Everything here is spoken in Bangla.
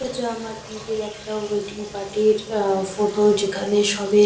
এইটা আমার দিদির একটা ওয়েডিং পার্টি -র আ-আ ফটো যেখানে সবে --